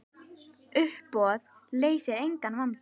Uppboð leysir engan vanda.